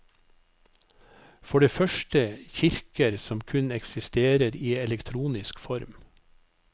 For det første kirker som kun eksisterer i elektronisk form.